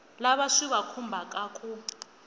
lava swi va khumbhaka ku